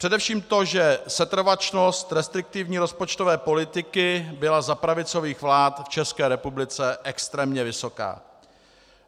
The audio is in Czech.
Především to, že setrvačnost restriktivní rozpočtové politiky byla za pravicových vlád v České republice extrémně vysoká.